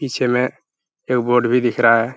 पीछे में एक बोट भी दिख रहा है।